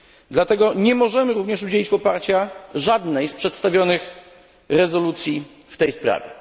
Dlatego nie możemy również udzielić poparcia żadnej z przedstawionych rezolucji w tej sprawie.